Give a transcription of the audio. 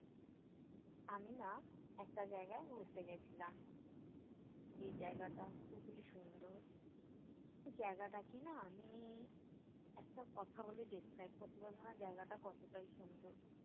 আমি না একটা জায়গায় ঘুরতে গেছিলাম। যে জায়গাটা খুবই সুন্দর। সেই জায়গাটা কি-না আমি একটা কথা বলে describe করতে পারবোনা- জায়গাটা কতোটাই সুন্দর।